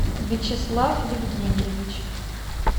вячеслав евгеньевич